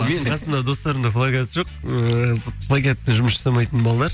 менің қасымдағы достарымда плагиат жоқ ыыы плагиатпен жұмыс жасамайтын балалар